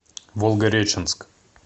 волгореченск